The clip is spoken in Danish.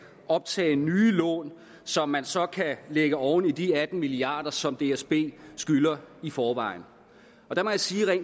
optage nye lån som man så kan lægge oven i de atten milliard kr som dsb skylder i forvejen og der må jeg sige at